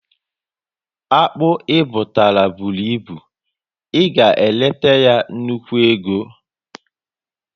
Akpụ i butara bụrụ ịbụ, ị ga eleta ya nnukwu ego